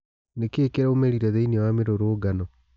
Nĩ kĩ ĩ kĩ raumĩ rire thĩ iniĩ wa mĩ rũrũngano?